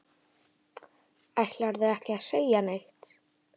Ætlarðu ekki að segja neitt?